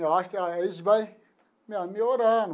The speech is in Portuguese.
Eu acho que eles vai melhorar.